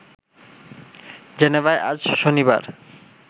জেনেভায় আজ শনিবার